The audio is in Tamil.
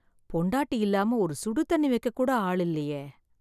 பொண்டாட்டி இல்லாம ஒரு சுடு தண்ணி வெக்க கூட ஆள் இல்லயே.